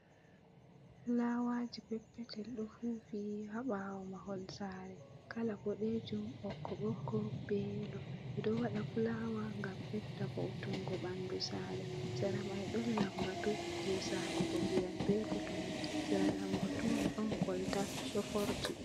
Fulawaji peppetel ɗo fu fi ha ɓawo mahol sare. Kala Ɓoɗejum Ɓokko Ɓokko, ɓe Yelo. Ɓe ɗo waɗa fulawa ngam ɓeɗɗa voutungo ɓanɗu sare. Sera mai ɗon lamɓatu je salugo nɗiyam ɓe kotomi. Sera lamɓatu mai ɗon kolta ɗo forti.